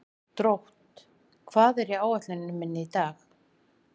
Drótt, hvað er á áætluninni minni í dag?